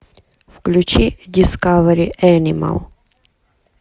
включи дискавери энимал